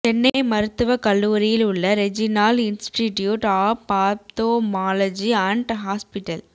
சென்னை மருத்துவக் கல்லூரியில் உள்ள regional institute of ophthalmology and hospital